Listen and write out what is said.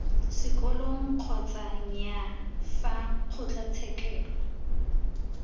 sekolong kgotsa nnyaa fa kgotlatshekelo